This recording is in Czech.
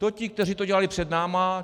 To ti, kteří to dělali před námi.